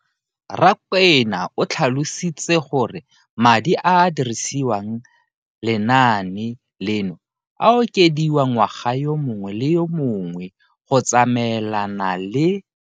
Rakwena o tlhalositse gore madi a a dirisediwang lenaane leno a okediwa ngwaga yo mongwe le yo mongwe go tsamaelana le